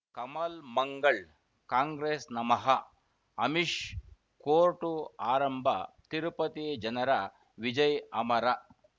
ಕಮಲ್ ಮಂಗಳ್ ಕಾಂಗ್ರೆಸ್ ನಮಃ ಅಮಿಷ್ ಕೋರ್ಟು ಆರಂಭ ತಿರುಪತಿ ಜನರ ವಿಜಯ ಅಮರ್